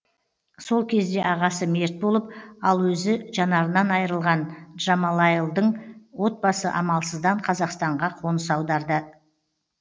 сол кезде ағасы мерт болып ал өзі жанарынан айырылған джамалайлдың отбасы амалсыздан қазақстанға қоныс аударады